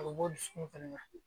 A bɛ bɔ du dusukun fɛnɛ na